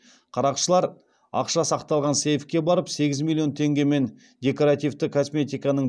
қарақшылар ақша сақталған сейфке барып сегіз миллион теңге мен декоративті косметиканың